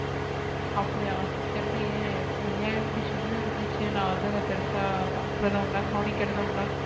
அப்டியா தெரியலையே ஐயாயிரத்தி சில்ற இருந்துச்சு நா வந்து அதா பெருசா பக்றதும் இல்ல கவனிக்றதும் இல்ல.